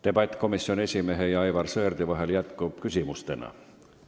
Debatt komisjoni esimehe ja Aivar Sõerdi vahel jätkub küsimuste-vastuste vormis.